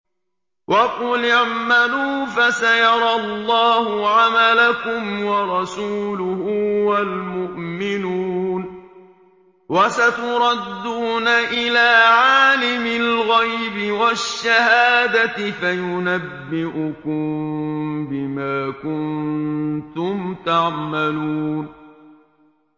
وَقُلِ اعْمَلُوا فَسَيَرَى اللَّهُ عَمَلَكُمْ وَرَسُولُهُ وَالْمُؤْمِنُونَ ۖ وَسَتُرَدُّونَ إِلَىٰ عَالِمِ الْغَيْبِ وَالشَّهَادَةِ فَيُنَبِّئُكُم بِمَا كُنتُمْ تَعْمَلُونَ